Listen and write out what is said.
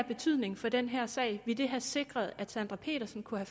betydning for den her sag ville det have sikret at sandra petersen kunne